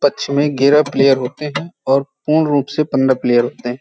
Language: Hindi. पछ में गेरा प्लयेर होते और पूर्ण रूप से पन्द्रह प्लयेर होते हैं।